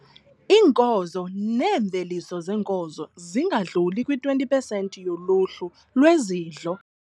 Iinkozo neemveliso zeenkozo zingadluli kwi-20 pesenti yoluhlu lwezidlo.